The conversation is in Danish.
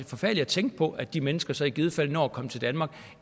forfærdeligt at tænke på at de mennesker så i givet fald når at komme til danmark